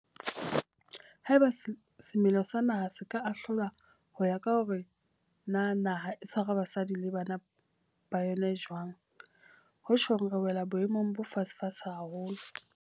Haeba semelo sa naha se ka ahlolwa ho ya ka hore na naha e tshwara basadi le bana ba yona jwang, ho tjhong re wela boemong bo fatshefatshe haholo.